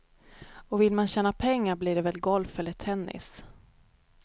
Och vill man tjäna pengar blir det väl golf eller tennis.